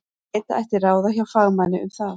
Leita ætti ráða hjá fagmanni um það.